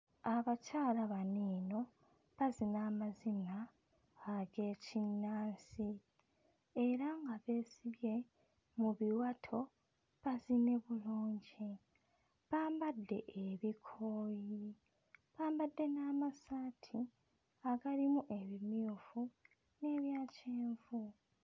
Abakyala bano eno bazina amazina ag'ekinnansi era nga beesibye mu biwato bazine bulungi bambadde ebikooyi bambadde n'amasaati agalimu ebimyufu n'ebya kyenvu.